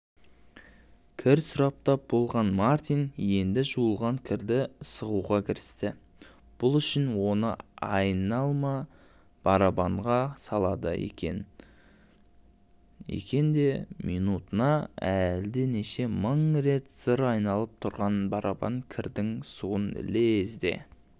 кір сұрыптап болған мартин енді жуылған кірді сығуға кірісті бұл үшін оны айналма барабанға салады екен де минутына әлденеше мың рет зыр айналып тұрған барабан кірдің суын лезде